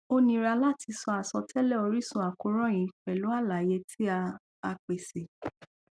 o nira lati sọ asọtẹlẹ orisun akoran yii pẹlu alaye ti a a pese